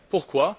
Pourquoi?